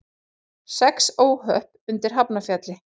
Sex óhöpp undir Hafnarfjalli